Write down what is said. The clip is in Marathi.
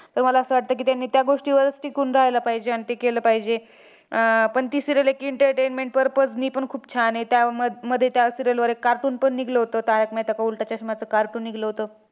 पण मला असं वाटतंय की, त्यांनी त्या गोष्टीवरच टिकून राहायला पाहिजे आणि ते केलं पाहिजे. अह पण ती serial एक entertainment purpose नी पण खूप छान आहे. त्याम त्यामध्ये त्या serial वर एक cartoon पण निघलं होत, तारक मेहता का उलटा चष्माचं cartoon निघलं होतं.